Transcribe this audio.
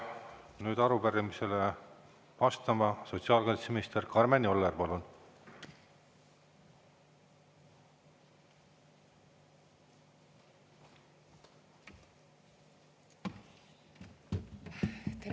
Ja nüüd arupärimisele vastama Karmen Joller, palun!